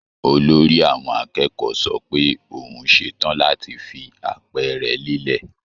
Olórí àwọn akẹ́kọ̀ọ́ sọ pé òun ṣe tàn láti fi àpẹẹrẹ lélẹ̀